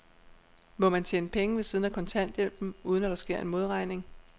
Må man tjene penge ved siden af kontanthjælpen, uden at der sker en modregning?